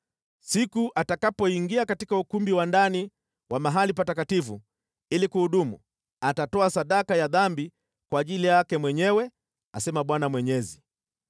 Siku atakapoingia katika ukumbi wa ndani wa mahali patakatifu ili kuhudumu, atatoa sadaka ya dhambi kwa ajili yake mwenyewe, asema Bwana Mwenyezi.